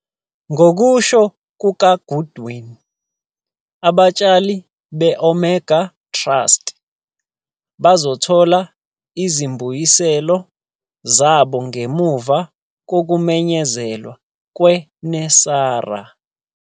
Ngokusho kukaGoodwin, abatshalizimali be-Omega Trust bazothola izimbuyiselo zabo ngemuva kokumenyezelwa kweNESARA.